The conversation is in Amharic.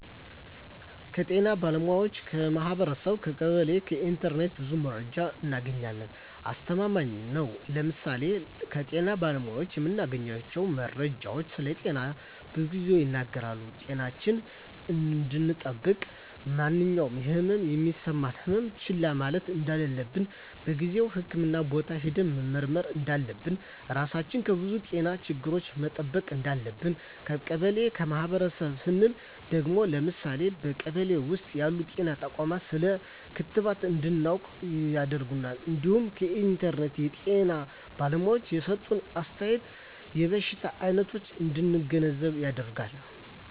ከጤና ባለሙያዎች ,ከማህበረሰቡ , ከቀበሌ ,ከኢንተርኔት ብዙ መረጃ እናገኛለን። አስተማማኝ ነው ለምሳሌ ከጤና ባለሙያዎች የምናገኘው መረጃ ስለጤናችን ብዙ ይናገራል ጤናችን እንድጠብቅ ማንኛውም የህመም የሚሰማን ህመሞች ችላ ማለት እንደለለብን በጊዜው ህክምህና ቦታ ሄደን መመርመር እንዳለብን, ራሳችን ከብዙ የጤና ችግሮች መጠበቅ እንዳለብን። ከቀበሌ ወይም ከማህበረሰቡ ስንል ደግሞ ለምሳሌ በቀበሌ ውስጥ ያሉ ጤና ተቋማት ስለ ክትባት እንድናውቅ ያደርገናል እንዲሁም ከኢንተርኔት የጤና ባለሙያዎች የሰጡትን አስተያየት የበሽታ አይነቶች እንድንገነዘብ ያደርጋል።